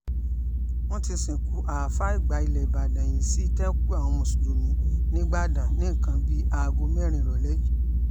wọ́n ti sìnkú àáfàá àgbà ilẹ̀ ìbàdàn yìí sí ìtẹ́kùú àwọn mùsùlùmí nígbàdàn ní nǹkan bíi aago mẹ́rin ìrọ̀lẹ́ yìí